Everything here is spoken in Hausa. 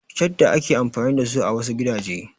Shadda ake amfani dasu a wasu gidaje.